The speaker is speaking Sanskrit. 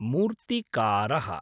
मूर्तिकारः